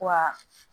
Wa